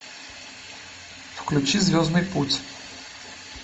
включи звездный путь